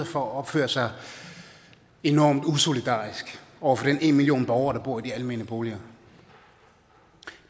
for at opføre sig enormt usolidarisk over for den en million borgere der bor i de almene boliger